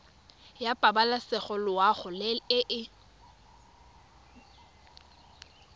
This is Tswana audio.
ya pabalesego loago e e